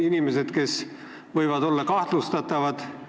Inimesed võivad olla kahtlustatavad.